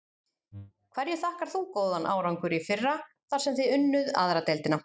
Hverju þakkar þú góðan árangur í fyrra þar sem þið unnið aðra deildina?